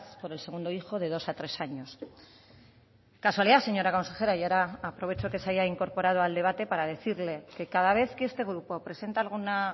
por el segundo hijo de dos a tres años casualidad señora consejera y ahora aprovecho que se haya incorporado al debate para decirle que cada vez que este grupo presenta alguna